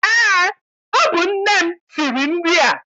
Eé, ọ bụ nne m siri nri a.